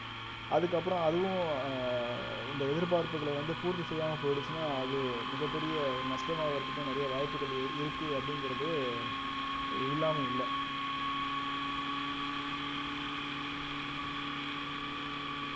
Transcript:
அதுக்கப்புறம் அதுவும் அஹ் இந்த எதிர்பார்ப்புகள வந்து பூர்த்தி செய்யாம போயிடுச்சுன்னா அது மிகப் பெரிய ஒரு நஷ்டமாவதற்கும் நிறைய வாய்ப்புகள் இரு~ இருக்கு அப்படிங்கிறது இல்லாம இல்ல